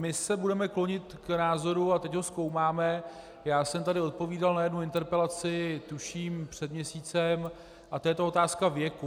My se budeme klonit k názoru, a teď ho zkoumáme, já jsem tady odpovídal na jednu interpelaci, tuším, před měsícem, a to je ta otázka věku.